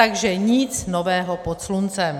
Takže nic nového pod sluncem.